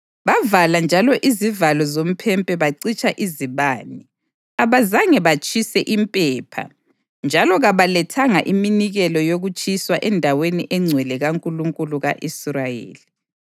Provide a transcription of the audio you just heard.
Bavala njalo izivalo zomphempe bacitsha izibane. Abazange batshise impepha njalo kabalethanga iminikelo yokutshiswa endaweni engcwele kaNkulunkulu ka-Israyeli.